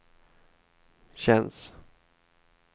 känns